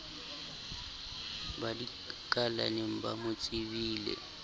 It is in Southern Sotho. ba dikalaneng ba mo tsebileng